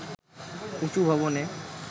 উঁচু ভবনে